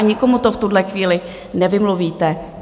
A nikomu to v tuhle chvíli nevymluvíte.